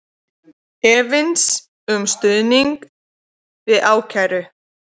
Efins um stuðning við ákæru